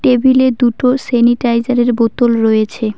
টেবিলে দুটো সেনিটাইজার -এর বোতল রয়েছে।